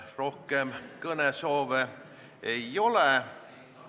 Ma arvan, hea kolleeg Urmas Kruuse, et teatud mõttes me oleme sarnasel positsioonil.